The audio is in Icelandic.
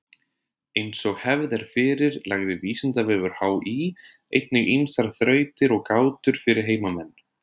Eins og hefð er fyrir lagði Vísindavefur HÍ einnig ýmsar þrautir og gátur fyrir heimamenn.